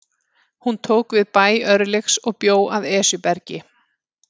Hún tók við bæ Örlygs og bjó að Esjubergi.